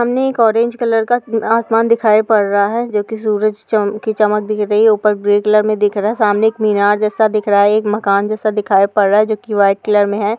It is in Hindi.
सामने एक ऑरेंज कलर का आसमान दिखाई पड़ रहा है जो कि सूरज चम की चमक दिख रही है। ऊपर ग्रे कलर में दिख रहा। सामने एक मीनार जैसा दिख रहा है। एक मकान जैसा दिखाई पड़ रहा है जो कि व्हाइट कलर में है।